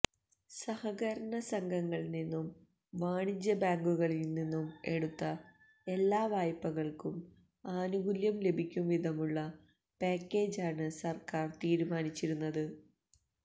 സഹകരണ സംഘങ്ങളില്നിന്നും വാണിജ്യബാങ്കുകളില്നിന്നും എടുത്ത എല്ലാ വായ്പകള്ക്കും ആനുകൂല്യം ലഭിക്കുംവിധമുള്ള പാക്കേജാണ് സര്ക്കാര് തീരുമാനിച്ചിരുന്നത്